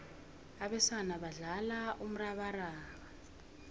abesana badlala umrabaraba